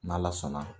N'ala sɔnna